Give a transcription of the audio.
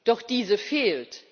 Doch diese fehlt.